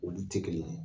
Olu tɛ kelen ye